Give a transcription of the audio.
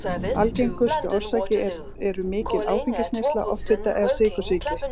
Algengustu orsakir eru mikil áfengisneysla, offita eða sykursýki.